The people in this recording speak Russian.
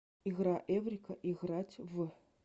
игра эврика играть в